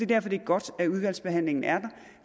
derfor det er godt at udvalgsbehandlingen er